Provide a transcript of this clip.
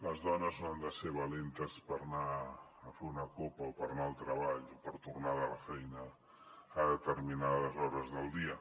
les dones no han de ser valentes per anar a fer una copa o per anar al treball o per tornar de la feina a determinades hores del dia